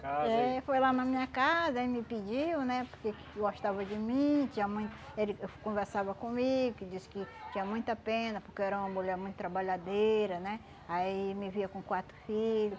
Eh foi lá na minha casa e me pediu, né, porque que gostava de mim, tinha muito ele conversava comigo, que disse que tinha muita pena porque eu era uma mulher muito trabalhadeira, né, aí me via com quatro filho.